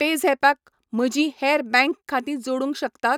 पेझॅपाक म्हजीं हेर बँक खातीं जोडूंक शकता?